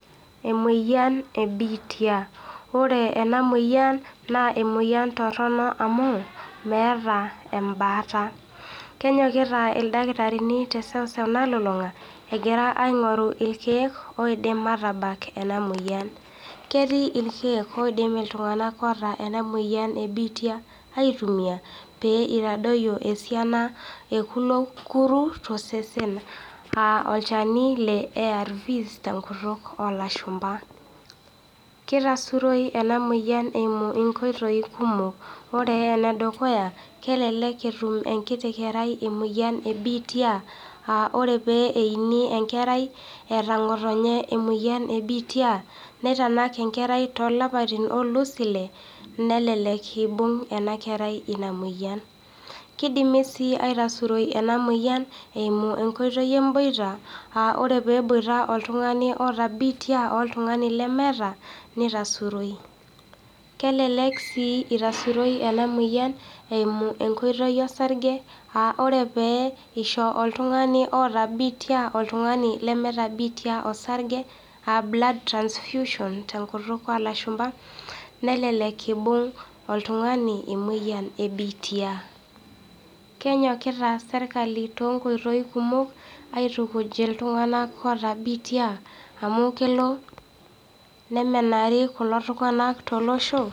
Emoyian ebiitia, ore ena moyian naa emoyian torono amuu meata embaata, kenyokita irdaktarini te seuseu nalulunga egira ain'oru ilkeek oidim aatabak ena moyian, ketii ilkeek oidim ltung'anak oota ena moyian ebiitia aitumiya pee eitadoiyo esiana eekulo kurru te sesen aa olcheni le ARVS te nkutuk oolashumba. Keitasuroi ena moyian eimu inkoitoii kumok, ore le dukuya kelek etum enkiti kerrai emoyian ebiitia aa ore peini enkerrai eata notenye emoyian ebiitia neitanak inkerraitoo lapatin oolus ilee nelelk eibung' ena kerrai ina moyian, keidimi sii aitasuroi ena moyian eimu enkoitoi emboita aa ore peeboita oltung'ani oota biitia oltung'ani lemeeta neitasuroi, kelelek sii eitasuroi ena moyian eimu enkoitoi esarge aaore pee eisho oltung'ani oota biitia oltung'ani lemeeta biitia osarge aa blood transfusion to nkutuk oolashumba nelelek eibung' oltung'ani emoyian ebiitia. Kenyokita sirkali te nkoitoi kumok aitukuj ltung'anak oota biitia amu kelo nemenari kulo tung'anka to loshoo.